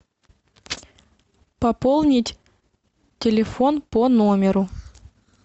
пополнить телефон по номеру